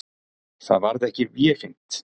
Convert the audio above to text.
Það varð ekki vefengt.